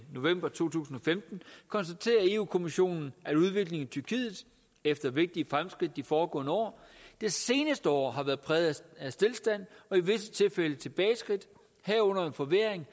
november to tusind og femten konstaterer europa kommissionen at udviklingen i tyrkiet efter vigtige fremskridt de foregående år det seneste år har været præget af stilstand og i visse tilfælde tilbageskridt herunder en forværring